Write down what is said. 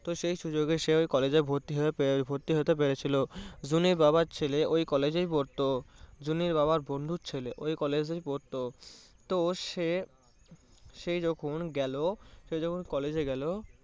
সেই সুযোগে সে ওই college এ ভর্তি হয়ে~ ভর্তি হতে পেরেছিলো। জুনির বাবার ছেলে ওই college এই পড়তো। জুনির বাবার বন্ধুর ছেলে ওই college এই পড়তো তো সে, সেই যখন গেলো, সে যখন college এ গেলো